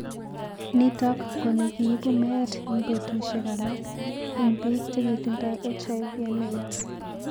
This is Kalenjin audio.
Nitok ko ne kiipu meet ing petushek alak ing piik che kitindoi HIV/AIDS.